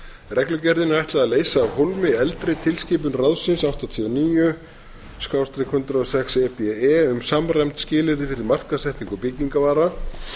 reglugerðinni er ætlað að leysa af hólmi eldri tilskipun ráðsins áttatíu og níu hundrað og sex e b e um samræmd skilyrði fyrir markaðssetningu byggingarvara